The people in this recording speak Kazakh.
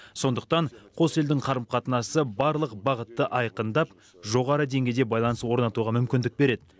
сондықтан қос елдің қарым қатынасы барлық бағытты айқындап жоғары деңгейде байланыс орнатуға мүмкіндік береді